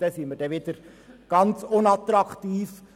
In dieser Beziehung sind wir dann wieder sehr unattraktiv.